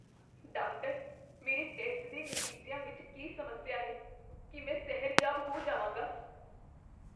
Doctor, ਮੇਰੇ test ਦੇ ਨਤੀਜਿਆਂ ਵਿੱਚ ਕੀ ਸਮੱਸਿਆ ਹੈ? ਕੀ ਮੈਂ ਸਿਹਰਜਾਬ ਹੋ ਜਾਵਾਂਗਾ?